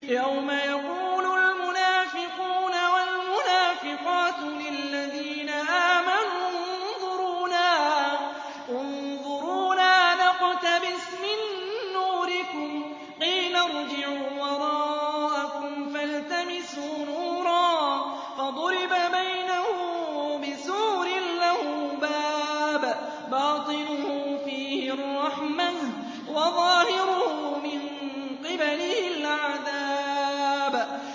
يَوْمَ يَقُولُ الْمُنَافِقُونَ وَالْمُنَافِقَاتُ لِلَّذِينَ آمَنُوا انظُرُونَا نَقْتَبِسْ مِن نُّورِكُمْ قِيلَ ارْجِعُوا وَرَاءَكُمْ فَالْتَمِسُوا نُورًا فَضُرِبَ بَيْنَهُم بِسُورٍ لَّهُ بَابٌ بَاطِنُهُ فِيهِ الرَّحْمَةُ وَظَاهِرُهُ مِن قِبَلِهِ الْعَذَابُ